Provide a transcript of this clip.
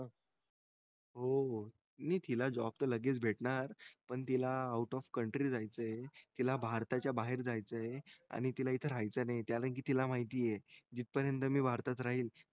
हो हो नि तिला job त लगेच भेटणार पण तिला out of country जायचे हे तिला भारताच्या बाहेर जायचे हे आणि तिला इथे राहायचे नाही हे कारण कि तिला माहिती आहे जिथपर्यंत मी भारतात राहील